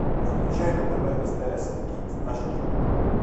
включай на тв стс кид аш ди